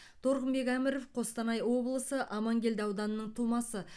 торғынбек әміров қостанай облысы амангелді ауданының тумасы